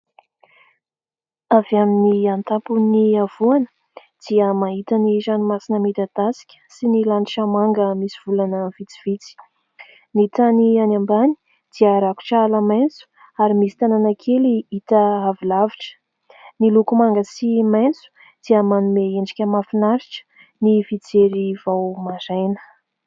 Avy amin'ny antapon' ny havoana dia mahita ny ranomasina midadasika sy ny lanitra manga misy volana vitsivitsy, ny tany any ambany dia rakotra ala maitso ary misy tanàna kely hita àvy lavitra, ny loko manga sy maitso dia manome endrika mahafinaritra ny fijery vao maraina.